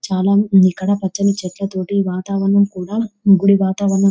చాలామంది ఇక్కడ పచ్చని చెట్ల తోటి వాతావరణం కూడా గుడి వాతావరణం --